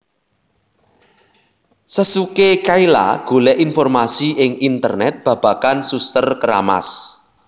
Sesuke Kayla golek informasi ing Internet babagan Suster Keramas